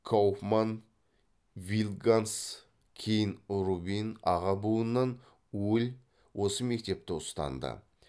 кауфман вильдганс кейін рубин аға буыннан уль осы мектепті ұстанды